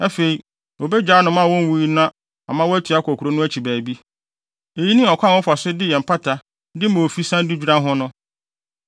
Afei, obegyaa anomaa a onwui no ama watu akɔ kurow no akyi baabi. Eyi ne ɔkwan a wɔfa so de yɛ mpata de ma ofi san de dwira ho no.”